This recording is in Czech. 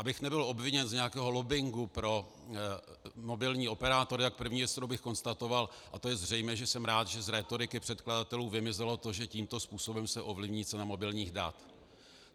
Abych nebyl obviněn z nějakého lobbingu pro mobilní operátory, tak první věc, kterou bych konstatoval, a to je zřejmé, že jsem rád, že z rétoriky předkladatelů vymizelo to, že tímto způsobem se ovlivní cena mobilních dat.